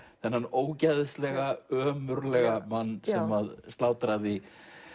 þennan ógeðslega ömurlega mann sem slátraði